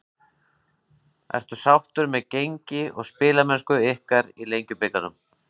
Ertu sáttur með gengi og spilamennsku ykkar í Lengjubikarnum?